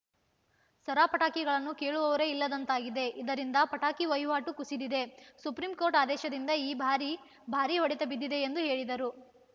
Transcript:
ಸರ ಪಟಾಕಿಗಳನ್ನು ಕೇಳುವವರೇ ಇಲ್ಲದಂತಾಗಿದೆ ಇದರಿಂದ ಪಟಾಕಿ ವಹಿವಾಟು ಕುಸಿದಿದೆ ಸುಪ್ರೀಂ ಕೋರ್ಟ್‌ ಆದೇಶದಿಂದ ಈ ಬಾರಿ ಭಾರಿ ಹೊಡೆತ ಬಿದ್ದಿದೆ ಎಂದು ಹೇಳಿದರು